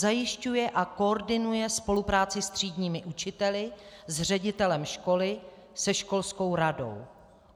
Zajišťuje a koordinuje spolupráci s třídními učiteli, s ředitelem školy, se školskou radou.